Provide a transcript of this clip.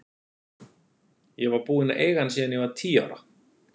Ég var búin að eiga hann síðan ég var tíu ára.